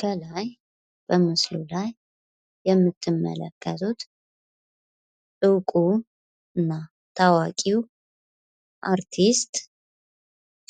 ከላይ በምስሉ ላይ የምትመለከቱት እውቁ እና ታዋቂው አርቲስት